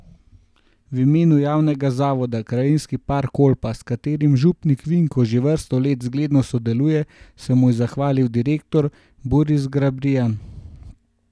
V imenu Javnega zavoda Krajinski park Kolpa, s katerim župnik Vinko že vrsto let zgledno sodeluje, se mu je zahvalil direktor Boris Grabrijan.